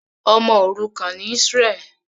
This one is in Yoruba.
Ọmọ òrukàn ni Israel.